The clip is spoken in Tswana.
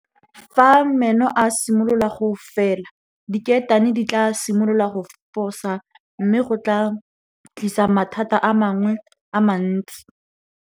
Fa meno a simolola go fela diketane di tlaa simolola go fosa mme go tlaa tlisa mathata a mangwe a mantsi.